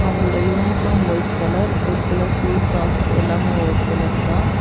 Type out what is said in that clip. அங்களுடைய uniform white colour white colour shoe socks எல்லாமே white கலர்தா .